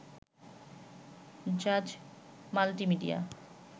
Jaaz multimedia